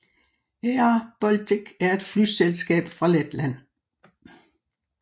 airBaltic er et flyselskab fra Letland